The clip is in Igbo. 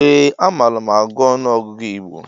Ee a malu m agụ ọnụọgụgụ igbo